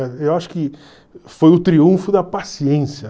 Eu acho que foi o triunfo da paciência.